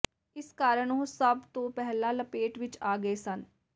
ਇਸ ਕਾਰਨ ਉਹ ਸਭ ਤੋਂ ਪਹਿਲਾਂ ਲਪੇਟ ਵਿੱਚ ਆ ਗਏ ਸਨ